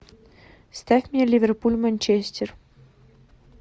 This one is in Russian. ставь мне ливерпуль манчестер